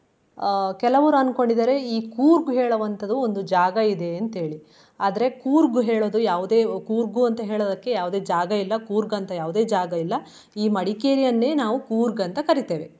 ಅಹ್ ಕೆಲವ್ರು ಅನ್ಕೊಂಡಿದ್ದಾರೆ ಈ ಕೂರ್ಗ್ ಹೇಳುವಂತದು ಒಂದು ಜಾಗಯಿದೆ ಅಂತ ಹೇಳಿ. ಆದ್ರೆ ಕೂರ್ಗ್ ಹೇಳೋದು ಯಾವ್ದೆ ಕೂರ್ಗು ಅಂತ ಹೇಳೋದಕ್ಕೆ ಯಾವ್ದೆ ಜಾಗಯಿಲ್ಲ ಕೂರ್ಗ್ ಅಂತಾ ಯಾವ್ದೆ ಜಾಗಯಿಲ್ಲ ಈ ಮಡಿಕೇರಿಯನ್ನೇ ನಾವು ಕೂರ್ಗ್ ಅಂತ ಕರಿತೇವೆ.